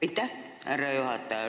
Aitäh, härra juhataja!